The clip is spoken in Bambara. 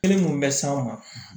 Kelen mun bɛ s'an ma